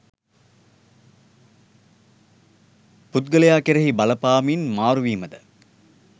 පුද්ගලයා කෙරෙහි බලපාමින් මාරුවීමද,